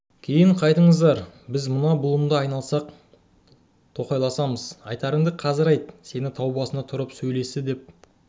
кейін қайтыңыздар біз мына бұлымды айналсақ тоқайласамыз айтарыңды қазір айт сені тау басында тұрып сөйлесті деп